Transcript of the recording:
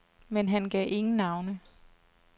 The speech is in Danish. Men han gav ingen navne.